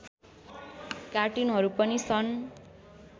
कार्टुनहरू पनि सन्